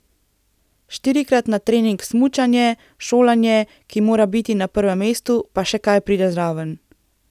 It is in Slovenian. Štirikrat na trening smučanje, šolanje, ki mora biti na prvem mestu, pa še kaj pride zraven.